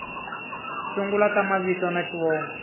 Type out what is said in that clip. sungula ta mavito na xivongo